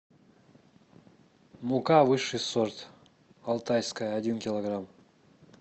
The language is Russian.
мука высший сорт алтайская один килограмм